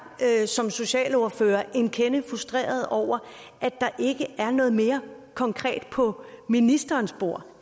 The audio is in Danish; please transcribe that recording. som socialordførere en kende frustreret over at der ikke er noget mere konkret på ministerens bord